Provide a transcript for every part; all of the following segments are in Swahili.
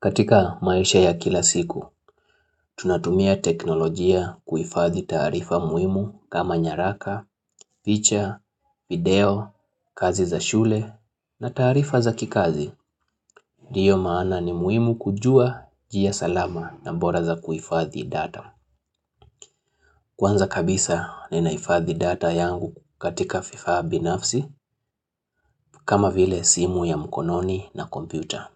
Katika maisha ya kila siku, tunatumia teknolojia kuifadhi taarifa muhimu kama nyaraka, feature, video, kazi za shule na taarifa za kikazi. Ndiyo maana ni muimu kujua jia salama na bora za kuifadhi data. Kwanza kabisa ninaifadhi data yangu katika vifaa binafsi kama vile simu ya mkononi na kompyuta.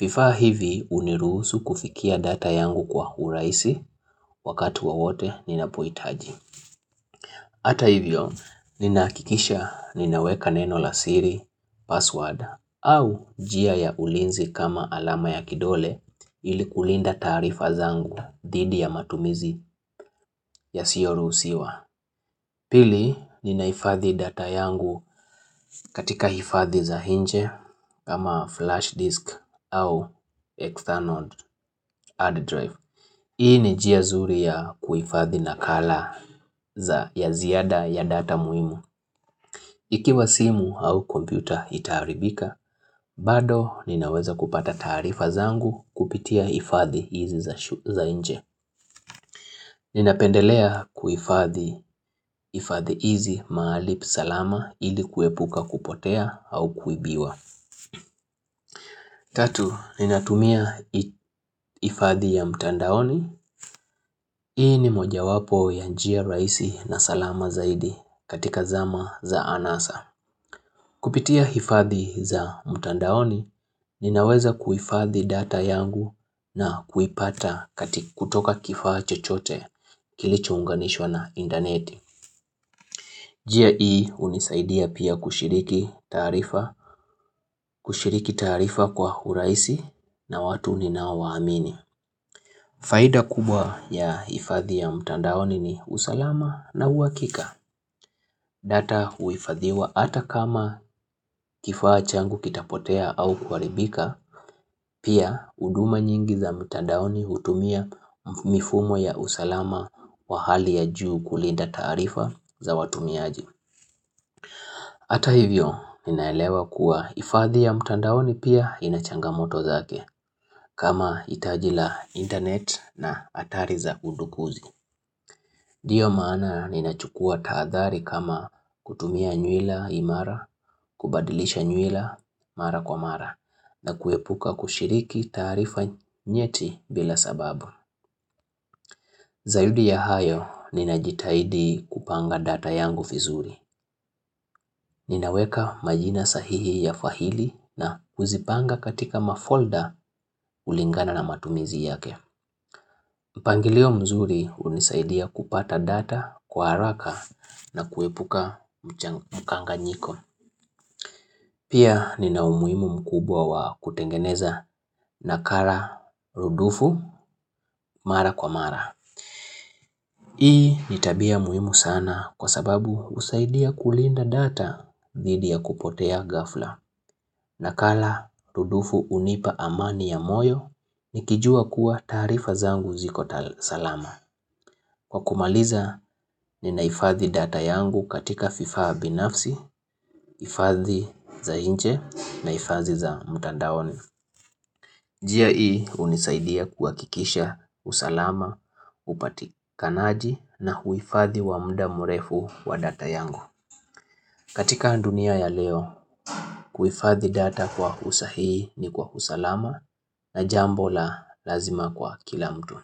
Vifaa hivi uniruhusu kufikia data yangu kwa huraisi wakati wo wote ninapoitaji. Ata hivyo, nina hakikisha ninaweka neno la siri password au jia ya ulinzi kama alama ya kidole ilikulinda taarifa zangu dhidi ya matumizi ya siyoru usiwa. Pili, ninaifadhi data yangu katika hifadhi za inje kama flash disk au external hard drive. Hii ni jia zuri ya kuifadhi na color za ya ziada ya data muhimu. Ikiwa simu au kompyuta itaharibika, bado ninaweza kupata taarifa zangu kupitia hifadhi hizi za inje. Ninapendelea kuifadhi ifadhi hizi mahali salama ili kuepuka kupotea au kuibiwa Tatu, ninatumia ifadhi ya mtandaoni Hii ni moja wapo ya njia raisi na salama zaidi katika zama za anasa Kupitia ifadhi za mtandaoni, ninaweza kuifadhi data yangu na kuipata kutoka kifaa chochote kilicho unganishwa na indaneti Jia ii unisaidia pia kushiriki tarifa kwa huraisi na watu ninaowaa amini. Faida kubwa ya ifadhi ya mtandaoni ni usalama na uwakika. Data huifadhiwa ata kama kifaa changu kitapotea au kuharibika, pia uduma nyingi za mtandaoni hutumia mifumo ya usalama wa hali ya juu kulinda taarifa za watumiaji. Hata hivyo ninaelewa kuwa ifadhi ya mtandaoni pia inachanga moto zake kama itajila internet na atari za kundukuzi. Ndiyo maana nina chukua taadhari kama kutumia nyuila imara, kubadilisha nyuila mara kwa mara na kuepuka kushiriki taarifa nyeti bila sababu. Zaidi ya hayo ninajitahidi kupanga data yangu vizuri. Ninaweka majina sahihi ya fahili na uzipanga katika mafolder ulingana na matumizi yake. Mpangilio mzuri unisaidia kupata data kwa haraka na kuepuka mkanganyiko. Pia nina umuimu mkubwa wa kutengeneza na kara rudufu mara kwa mara. Hii nitabia muhimu sana kwa sababu usaidia kulinda data dhidi ya kupotea gafla na kala tudufu unipa amani ya moyo nikijua kuwa taarifa zangu zikotasalama. Kwa kumaliza ni naifadhi data yangu katika vifaa binafsi, ifadhi za nje na ifadhi za mtandaoni. Jia ii unisaidia kuwa kikisha usalama, upatika naaji na huifadhi wa mda murefu wa data yangu. Katika dunia ya leo, kuifadhi data kwa usahii ni kwa usalama na jambo la lazima kwa kila mtu.